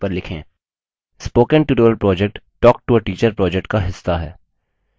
spoken tutorial project talktoateacher project का हिस्सा है